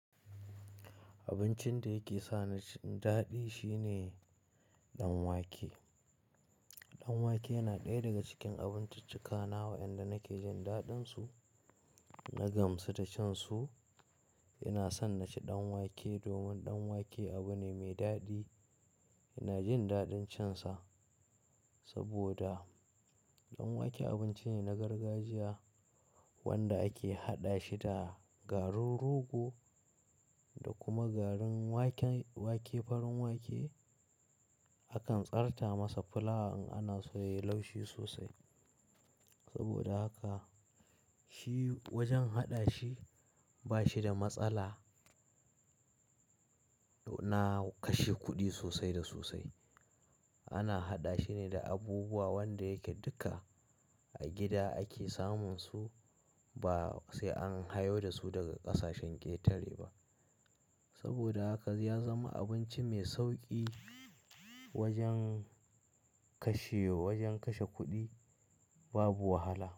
Abincin da yake sa ni daɗi shine danwake. Danwake yana ɗaya daga cikin abinciccakanawa inda nake jin daɗinsu na gamsu da cin su. Ina son na ci danwake domin danwake abu ne mai daɗi. Ina jin daɗin cin sa saboda danwake abinci ne na gargajiya wanda ake haɗa shi da garin rogo da kuma garin wake, farin wake. Akan tsarta masa fulawa in ana so yayi laushi sosai. Saboda haka shi wajen haɗa shi ba shi da matsala. Na kashe kuɗi sosai da sosai. Ana haɗa shi ne da abubuwa wanda yake duka a gida ake samun su ba sai an hawo da su daga ƙasashen ƙetare ba. Saboda haka ya zama abinci mai sauƙi wajen kashe, wajen kashe kuɗi babu wahala.